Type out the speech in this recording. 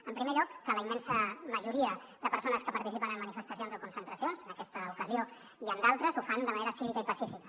en primer lloc que la immensa majoria de persones que participen en manifestacions o concentracions en aquesta ocasió i en d’altres ho fan de manera cívica i pacífica